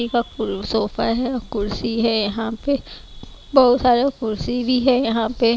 sofa है कुर्सी है यहां पे बहुत सारा कुर्सी भी है यहां पे--